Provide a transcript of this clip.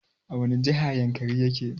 A wani jiha yankari yake?